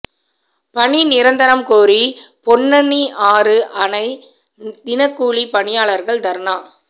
பணி நிரந்தரம் கோரி பொன்னணியாறு அணை தினக்கூலிப் பணியாளா்கள் தா்னா